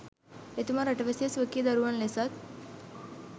එතුමා රටවැසියා ස්වකීය දරුවන් ලෙසත්